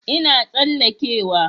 Ina tsalleke wa